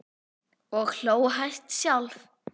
Og hló hæst sjálf.